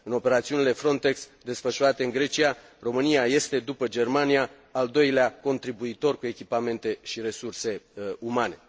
În operațiunile FRONTEX desfășurate în Grecia, România este, după Germania, al doilea contribuitor cu echipamente și resurse umane.